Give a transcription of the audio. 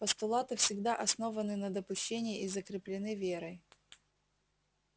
постулаты всегда основаны на допущении и закреплены верой